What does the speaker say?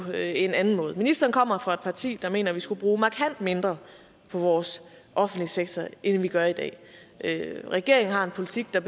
en anden måde ministeren kommer fra et parti der mener at vi skal bruge markant mindre på vores offentlige sektor end vi gør i dag regeringen har en politik der